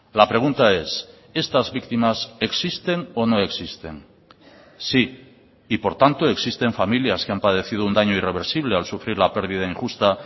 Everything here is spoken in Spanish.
la pregunta es estas víctimas existen o no existen sí y por tanto existen familias que han padecido un daño irreversible al sufrir la pérdida injusta